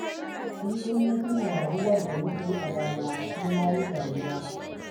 Kullum na tuna rayuwar da muka yi a baya, sai na yi dariya